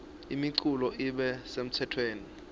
imiculu ibe semtsetfweni